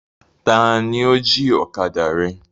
Taàní ó jí ọ̀kadà rẹ?